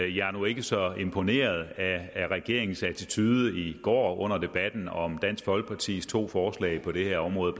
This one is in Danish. jeg var nu ikke så imponeret af regeringens attitude i går under debatten om dansk folkepartis to forslag på det her område